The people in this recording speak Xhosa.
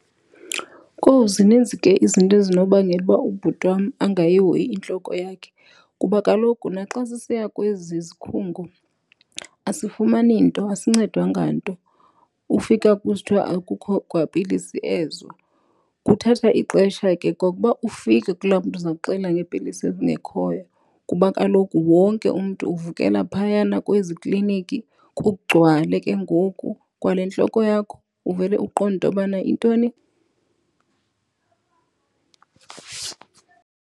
Kowu, zininzi ke izinto ezinobangela uba ubhuti wam angayihoyi intloko yakhe kuba kaloku naxa sisiya kwezi zikhungu asifumani nto, asincedwa nganto. Ufika kusithwa akukho kwa pilisi ezo. Kuthatha ixesha ke kwa uba ufike kulaa mntu uza kuxelela ngeepilisi ezingekhoyo kuba kaloku wonke umntu uvukela phayana kwezi kliniki, kugcwale ke ngoku. Kwale ntloko yakho uvele uqonde intobana intoni .